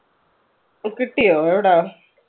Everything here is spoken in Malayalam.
കിട്ടിയോ എവിടാ?